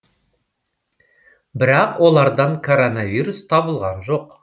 бірақ олардан коронавирус табылған жоқ